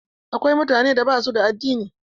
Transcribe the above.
Akwai mutane da basu da addini.